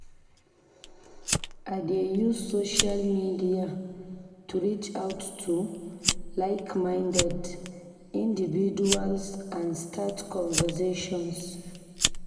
I dey use social media to reach out to like-minded individuals and start conversations.